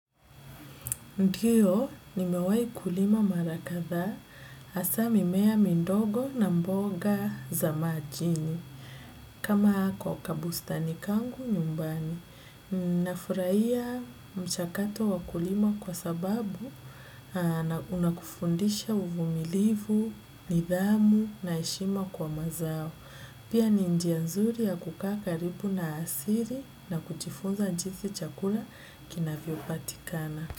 Ndiyo, nimewai kulima mara kadhaa, hasa mimea mindogo na mboga za majini, kama hako kabustani kangu nyumbani. Nafurahia mshakato wa kulima kwa sababu, na unakufundisha uvumilivu, nidhamu na heshima kwa mazao. Pia ni njia nzuri ya kukaa karibu na asili na kujifunza jinsi chakula kinavyopatikana.